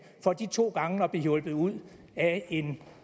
for de to gange at blive hjulpet ud af en